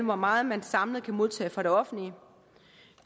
hvor meget man samlet kan modtage fra det offentlige